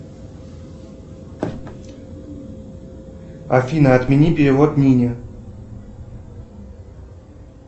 афина отмени перевод нине